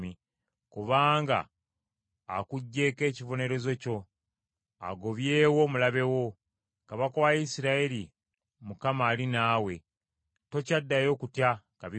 Mukama akuggyeeko ekibonerezo kyo, agobyewo omulabe wo. Kabaka wa Isirayiri, Mukama , ali naawe; tokyaddayo kutya kabi konna.